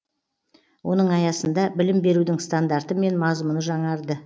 оның аясында білім берудің стандарты мен мазмұны жаңарды